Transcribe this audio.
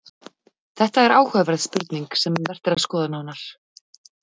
Þetta er áhugaverð spurning sem vert er að skoða nánar.